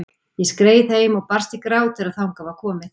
Ég skreið heim og brast í grát þegar þangað var komið.